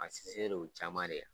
A sinsinnen don o caman de la